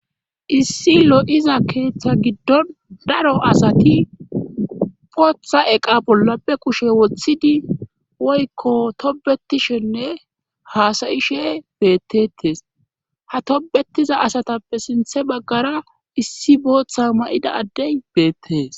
issi lo7iza keeththa giddon daro asati botha eqa bollape kushe woththidi woykko tobetishenne haasayishe beettetes ha tobetiza asatappe sinthe baggara issi booththa ma7ida addey beettes